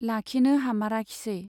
लाखिनो हामाराखिसै।